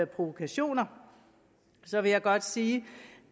provokationer så vil jeg godt sige